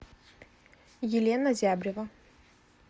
елена зябрева